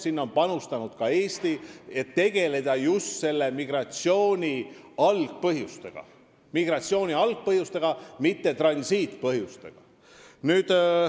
Sinna on panustanud ka Eesti, et tegeleda just migratsiooni algpõhjustega, mitte transiidi põhjustega.